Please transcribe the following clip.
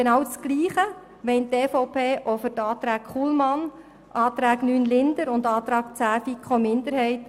Genau gleicher Meinung ist die EVP auch in Bezug auf den Antrag Kullmann, den Antrag 9 Linder und den Antrag 10 der FiKo-Minderheit.